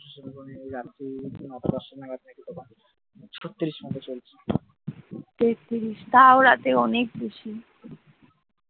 তেত তিরিশ তাও রাতে অনেক বেশি